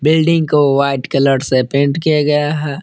Building को white colour से paint किया गया है।